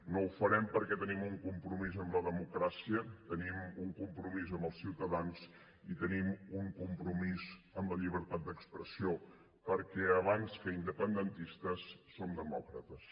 no ho farem perquè tenim un compromís amb la democràcia tenim un compromís amb els ciutadans i tenim un compromís amb la llibertat d’expressió perquè abans que independentistes som demòcrates